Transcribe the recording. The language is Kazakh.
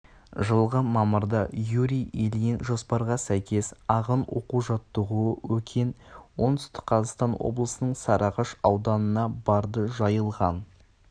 жылғы мамырда юрий ильин жоспарға сәйкес ағын оқу-жаттығуы өкен оңтүстік қазақстан облысының сарыағаш ауданына барды жайылған